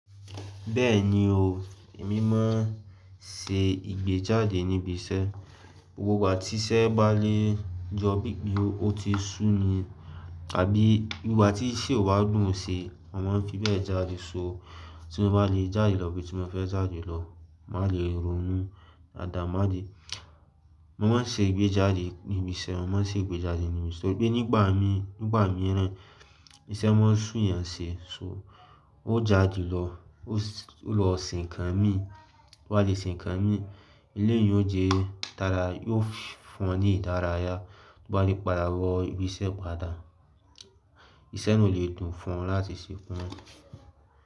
Bẹ́ẹ̀ni o, èmi máa ń ṣe ìgbéjáde níbi iṣẹ́. Gbogbo ìgbà tí iṣẹ́ bá lè jọ bí i ó ti sú ni, tàbí ìgbà tí iṣẹ́ ò bá dùn ṣe, mo máa ń fi bẹ́ẹ̀ jáde só. Tí mo bá lè jáde lọ ibi tí mo fẹ́ jáde lọ, màá lè ronú dáadáa, máa de. Mo máa ń ṣe ìgbéjáde níbi iṣẹ́, mo máa ń ṣe ìgbéjáde níbi iṣẹ́. Torí pé nígbà mìíràn, iṣẹ́ máa ń sú eyan ṣe, so ó jáde lọ, ó lọ se nkàn mí, tó bá le se nkan mí, eleyii yóò jẹ́ dáadáa, yóò fún un ní ìdárayá. Tó bá le padà wọ ibi iṣẹ́ padà, iṣẹ́ náà ò lè dùn fún un láti ṣe tan.